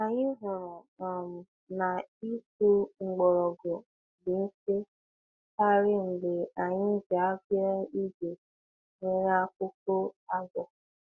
Anyị hụrụ um na ịkpụ mgbọrọgwụ dị mfe karị mgbe anyị ji aka ígwè nwere akụkụ agụ.